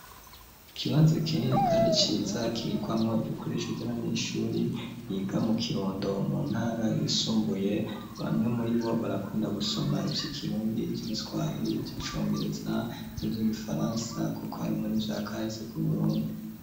Ikibanza kinini kandi ciza kibikwamwo ibikoresho vy'abanyeshuri biga mu Kirundo mu ntara yisumbuye bamwe muribo barakunda gusoma ivyikirundi, ivyigiswahiri, ivy'icongereza n'ivyigifaransa kuko harimwo n'ivyakahise ku Burundi